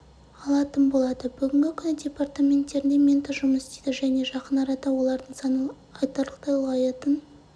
алатын болады бүгінгі күні департаменттерінде ментор жұмыс істейді және жақын арада олардың саны айтарлықтай ұлғаятын